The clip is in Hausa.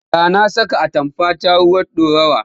Da na saka atamfata ruwan ɗorawa.